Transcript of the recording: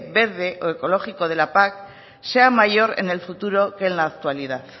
verde o ecológico de la pac sea mayor en el futuro que en la actualidad